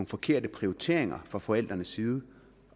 forkerte prioriteringer fra forældrenes side